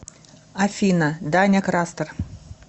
афина даня крастер